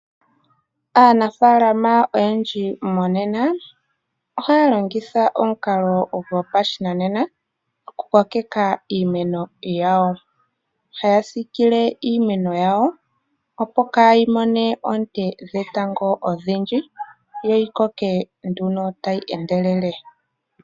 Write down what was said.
Aanafaalama oyendji monena ohaya longitha omukalo gopashinanena okukokeka iimeno yawo. Haya siikile iimeno yawo opo kaayi mone oonte dhetango odhindji yo yi koke nduno tayi endelele.